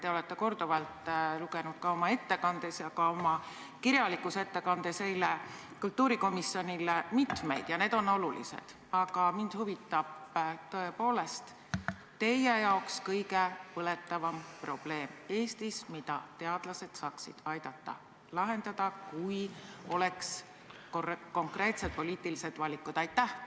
Te olete korduvalt nimetanud oma ettekandes ja ka eile oma kirjalikus ettekandes kultuurikomisjonile mitmeid probleeme ja need on tõesti olulised, aga mind huvitab tõepoolest teie jaoks kõige põletavam probleem Eestis, mida teadlased saaksid aidata lahendada, kui oleks konkreetsed poliitilised suunised.